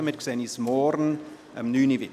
Wir sehen uns morgen um 9.00 Uhr wieder.